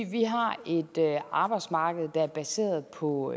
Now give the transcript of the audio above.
vi har et arbejdsmarked der er baseret på